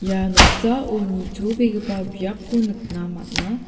ia noksao nitobegipa biapko nikna man·a.